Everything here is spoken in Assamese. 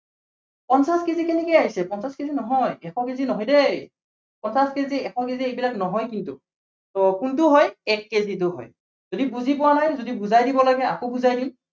পঞ্চাশ কেজি কেনেকে আহিছে পঞ্চাশ কেজি নহয়। এশ কেজি নহয় দেই। পঞ্চাশ কেজি এশ কেজি এইবিলাক নহয় কিন্তু। so কোনটো হয় এক কেজিটো হয়। যদি বুজি পোৱা নাই, যদি বুজাই দিব লাগে আকৌ বুজাই দিম।